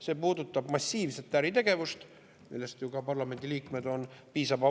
See puudutab massiivset äritegevust, millest ju ka parlamendiliikmed on.